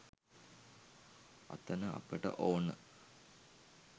අතන අපට ඕන